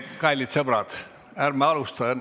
Kallid sõbrad!